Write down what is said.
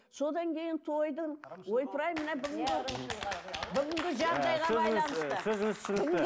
содан кейін тойдың ойпырай мына бүгінгі бүгінгі жағдайға байланысты сөзіңізді түсіндік